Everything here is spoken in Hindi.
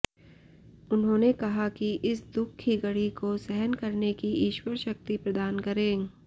उन्होंने कहा कि इस दुख की घड़ी को सहन करने की ईश्वर शक्ति प्रदान करे